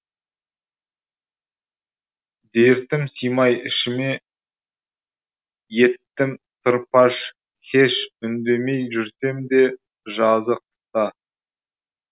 дертім сыймай ішіме еттім сыр паш һеш үндемей жүрсем де жазы қыста